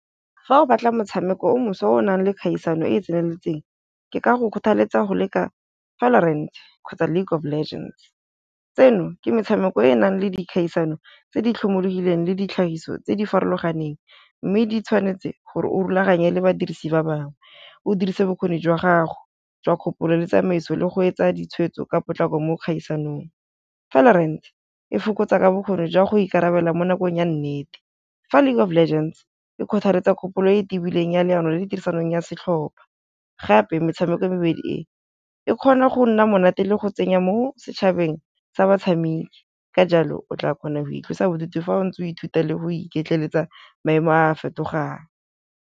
Fa o batla motshameko o moso o nang le kgaisano e e tseneletseng ke ka go kgothaletsa go leka valorant kgotsa League of Legends, tseno ke metshameko e e nang le dikgaisano tse di tlhomologileng le ditlhagiso tse di farologaneng, mme di tshwanetse gore o rulaganye le badirisi ba bangwe o dirise bokgoni jwa gago jwa kgopolo le tsamaiso le go etsa ditshwetso ka potlako mo dikgaisanong. Valorant fokotsa ka bokgoni jwa go ikarabela mo nakong ya nnete, fa League of Legends e kgothaletsa kgopolo e tibileng ya leano le le tirisanong ya setlhopha, gape metshameko e mebedi e e kgona go nna monate le go tsenya mo setšhabeng sa batshameki ka jalo o tla kgona go itlosa bodutu fa o ntse o ithuta le go iketleletsa maemo a fetogang.